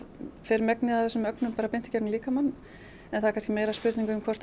fer megnið af þessum ögnum bara beint í gegnum líkamann en það er meira spurningin um hvort